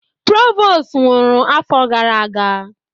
Provost nwụrụ afọ gara aga.